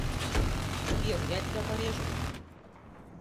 сбер я тебя порежу